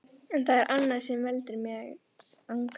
En það er annað sem veldur mér angri.